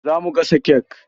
Za mu gasa kek.